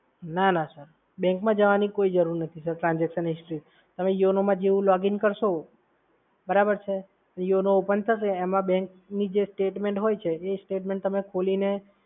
ના ના, sir. bank માં જવાની કોઈ જ જરૂર નથી સર. transaction history તમે YONO માં જેવુ login કરશો. બરાબર છે? yono open થશે એમાં બેંકની જે statement હોય છે એ statement તમે ખોલીને